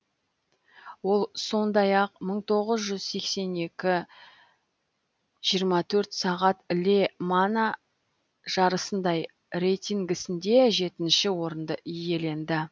ол сондай ақ мың тоғыз жүз сексен екі жиырма төрт сағат ле мана жарысында рейтингісінде жетінші орынды иеленді